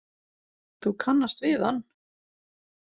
Þú kannast við hann?